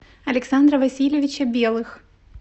александра васильевича белых